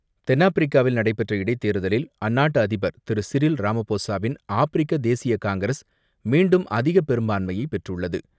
தென்னாப்பிரிக்காவில் நடைபெற்ற இடைத் தேர்தலில் அந்நாட்டு அதிபர் திரு சிறில் ராமபோசாவின் ஆப்பிரிக்க தேசிய காங்கிரஸ் மீண்டும் அதிக பெரும்பான்மையைப் பெற்றுள்ளது.